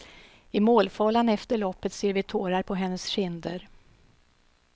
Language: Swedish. I målfällan efter loppet ser vi tårar på hennes kinder.